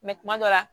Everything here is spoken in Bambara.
kuma dɔ la